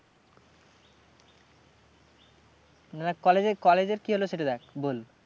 না college এর college এর কি হলো সেটা দেখ? বল